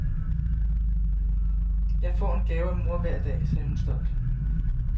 Jeg får en gave af mor hver dag, sagde hun stolt.